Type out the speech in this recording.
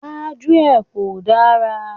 Gbájúẹ̀ kò dára.